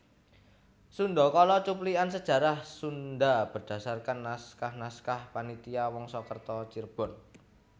Sundakala cuplikan sejarah Sunda berdasarkan naskah naskah Panitia Wangsakerta Cirebon